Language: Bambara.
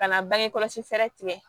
Ka na bange kɔlɔsi fɛɛrɛ tigɛ